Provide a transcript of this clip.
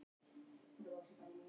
Hvað er að gerast?